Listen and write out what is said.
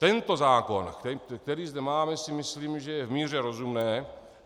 Tento zákon, který zde máme, si myslím, že je v míře rozumné.